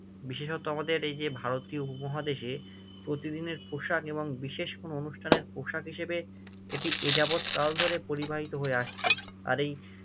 বিশেষত আমাদের এই যে ভারতীয় উপমহাদেশে প্রতিদিনের পোশাক এবং বিশেষ কোনো অনুষ্ঠানের পোশাক হিসেবে এটি এযাবৎ কাল ধরে পরিবাহিত হয়ে আসছে, আর এই